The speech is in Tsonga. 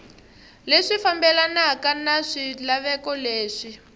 leswi fambelanaka na swilaveko leswi